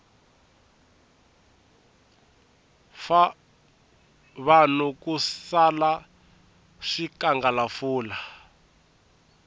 fa vanhu ku sala swikangalafula